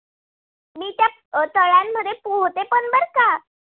अ तळ्यामध्ये पोहते पण बर का!